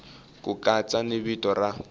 ku katsa ni vito ra